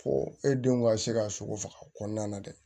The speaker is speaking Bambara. Fo e denw ka se ka sogo faga kɔɔna na dɛ